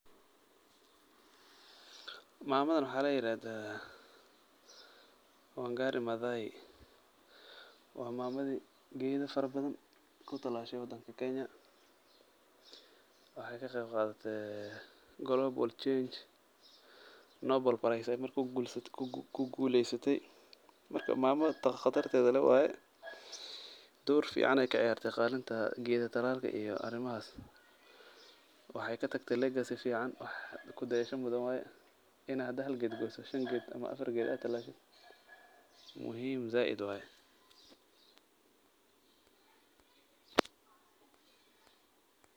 Mamadan waxaa layirahdaa Wangari Mathai. Waa maamadi geedi farabadan kutalaashey wadanka Kenya. Waxay ka qaybqaadatay global change. Noble Prize ayey ku guuleysatay. Marka, maamo khatarteed leh waay. Door fiican ay ka ciyaartay kaalinta geedi talalka iyo arrimahan. Waxay katagtay legacy fiican wax ku dayashada mudada waay. Inaad hadda hal geed goyso, shan geed ama afar geed aad talaashid muhiim zaaid waay.